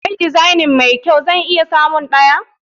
Kai design mai kyau? zan iya samun ɗaya.